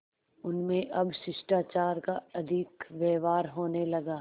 उनमें अब शिष्टाचार का अधिक व्यवहार होने लगा